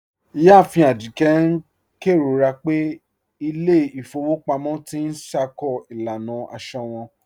Iyáàfin Ajíkẹ̀ n kẹrọra pẹ̀ ilẹ̀ ifòwò pàmọ̀ tì n ṣákó ilànà àṣọ wọn.